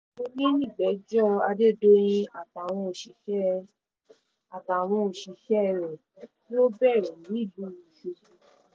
òní nìgbẹ́jọ́ adédọ̀yìn àtàwọn òṣìṣẹ́ àtàwọn òṣìṣẹ́ rẹ̀ yóò bẹ̀rẹ̀ nílùú ọ̀ṣọ́gbó